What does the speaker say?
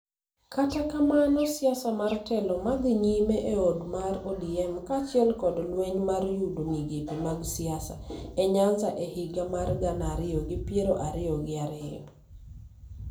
Kata kamano, siasa mar telo madhi nyime e od mar ODM kaachiel kod lweny mar yudo migepe mag siasa e Nyanza e higa mar gana ariyo gi piero ariyo gi ariyo,